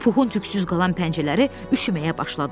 Puxun tüksüz qalan pəncələri üşüməyə başladı.